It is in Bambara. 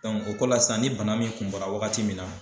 o ko la sisan ni bana min kun bora wagati min na